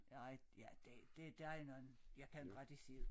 Nej ja det det der nogen jeg kan ikke rigtig se det